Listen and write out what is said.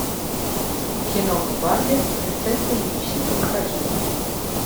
киноха барби принцесса и нищенка покажи